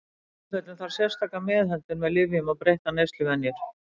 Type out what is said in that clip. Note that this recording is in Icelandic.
Í sumum tilfellum þarf sérstaka meðhöndlun með lyfjum eða breyttar neysluvenjur.